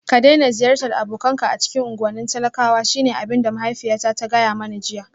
Ka daina ziyartar abokanka a cikin unguwannin talakwa shine abin da mahaifiyata ta gaya mani jiya